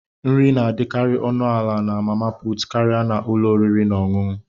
Nri na-adịkarị ọnụ ala na mama puutụ karịa ụlọ oriri na ọṅụṅụ.